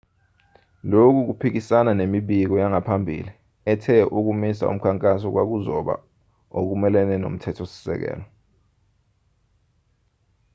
lokhu kuphikisana nemibiko yangaphambili ethe ukumisa umkhankaso kwakuzoba okumelene nomthetho-sisekelo